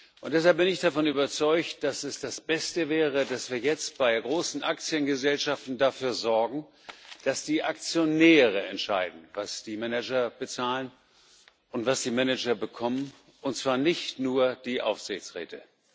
Und deshalb bin ich davon überzeugt, dass es das Beste wäre, dass wir jetzt bei großen Aktiengesellschaften dafür sorgen, dass die Aktionäre entscheiden, was die Manager bezahlen und was die Manager bekommen, und zwar nicht nur die Aufsichtsräte.